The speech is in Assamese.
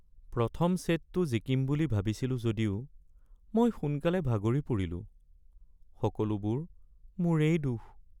প্ৰথম ছেটটো জিকিম বুলি ভাবিছিলোঁ যদিও মই সোনকালে ভাগৰি পৰিলোঁ। সকলোবোৰ মোৰেই দোষ।